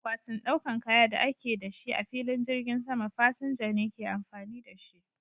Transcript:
Akwatin ɗaukan kaya da ake da shi a filin jirgin sama, fasinja ne ke amfani da shi.